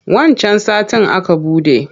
Wancan satin aka buɗe.